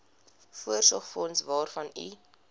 voorsorgsfonds waarvan u